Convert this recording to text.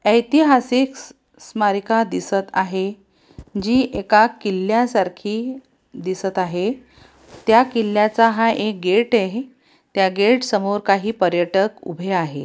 ऐतिहासिक स-स्मारिका दिसत आहे जी एका किल्ल्यासारखी दिसत आहे त्या किल्ल्याचा हा एक गेट आहे त्या गेट समोर काही पर्यटक उभे आहे.